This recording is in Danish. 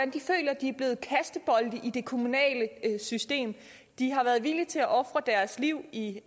de i det kommunale system de har været villige til at ofre deres liv i